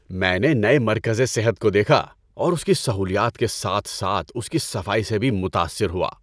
‏میں نے نئے مرکزِ صحت کو دیکھا اور اس کی سہولیات کے ساتھ ساتھ اس کی صفائی سے بھی متاثر ہوا‏۔